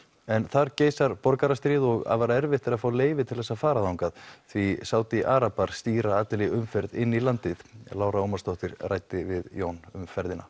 en þar geysar borgarastríð og afar erfitt er að fá leyfi til að fara þangað því Sádi arabar stýra allri umferð inn í landið Lára Ómarsdóttir ræddi við Jón um ferðina